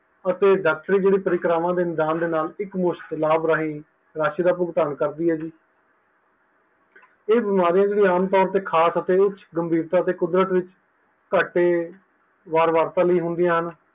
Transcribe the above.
ਅਤੇ ਡਾਕਟਰੀ ਜਿਹੜੀ ਪ੍ਰਿਕਰਵਾ ਦੇ ਮੈਦਾਨ ਵਿੱਚ ਇੱਕ ਮੁਫ਼ਤ ਲਾਭ ਰਾਹੀਂ ਰਾਸ਼ੀ ਦਾ ਭੁਗਤਾਨ ਕਰਦੀ ਹੈ ਜੀ ਇਹ ਬਿਮਾਰੀਆਂ ਜਿਹੜੀਆਂ ਆਮ ਤੌਰ ਖਾਸ ਅਤੇ ਉੱਚ ਗੰਭੀਰਤਾ ਕੁਦਰਤ ਵਿੱਚ ਘਾਟੇ ਵਾਰ ਵਾਰਤਾ ਲਈ ਹੁੰਦੀਆਂ ਹਨ